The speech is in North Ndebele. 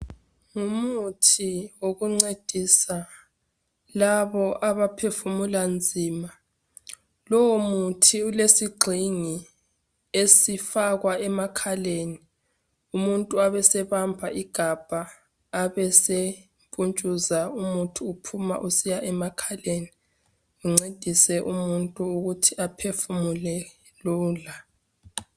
Ngumuthi wokuncedisa labo abaphefumula nzima. Lowo muthi ulesigxingi esifakwa emakhaleni, umuntu abesebamba igabha asesekutshuza umuthi uphuma usiya emakhaleni ungcedise umuntu ukuthi aphefumule lula.